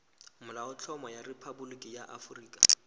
molaotlhomo wa rephaboliki ya aforika